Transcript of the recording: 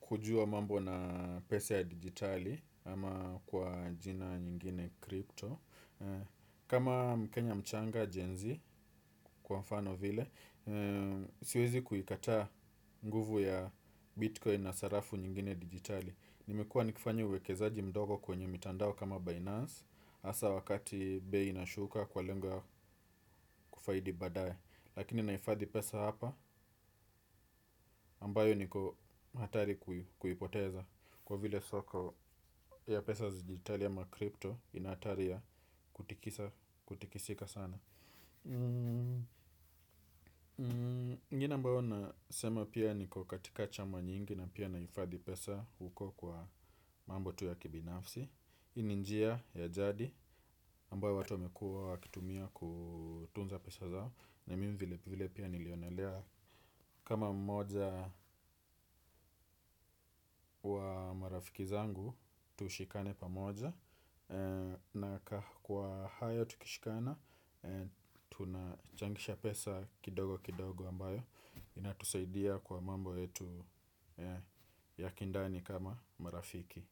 kujua mambo na pesa ya digitali ama kwa jina nyingine crypto. Kama mkenya mchanga gen z kwa mfano vile siwezi kuikataa nguvu ya bitcoin na sarafu nyingine digitali. Nimekua nikifanya uwekezaji mdogo kwenye mitandao kama Binance hasa wakati bei inashuka kwa lengo ya kufaidi baadae lakini naifadhi pesa hapa ambayo niko hatari kuipoteza kwa vile soko ya pesa za digitali ama crypto inahatari ya kutikisa, kutikisika sana. Ingine ambayo nasema pia niko katika chama nyingi na pia nahifadhi pesa huko kwa mambo tu ya kibinafsi. Hii ni njia ya jadi ambayo watu wamekua wakitumia kutunza pesa zao na mimi vile vile pia nilionelea kama mmoja wa marafiki zangu tushikane pamoja na kwa hayo tukishikana tunachangisha pesa kidogo kidogo ambayo inatusaidia kwa mambo yetu ya kindani kama marafiki.